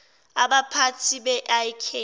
abaphathi be ik